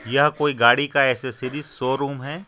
यह कोई गाडी का ऐसेशरीज़ शोरूम है।